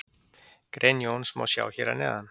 Grein Jóns má sjá hér að neðan.